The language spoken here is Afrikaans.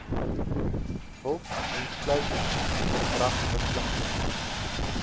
help insluitend verdragsverpligtinge